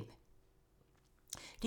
DR2